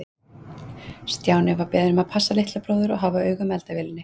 Stjáni var beðinn um að passa litla bróður og hafa auga með eldavélinni.